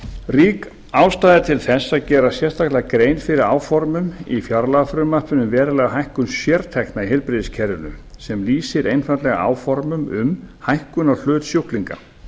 rík ástæða er til þess að gera sérstaka grein fyrir áformum í fjárlagafrumvarpinu um verulega hækkun sértekna í heilbrigðiskerfinu sem lýsir einfaldlega áformum um hækkun á hlut sjúklinga